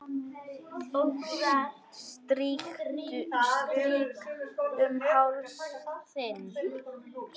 Strýk um háls þinn.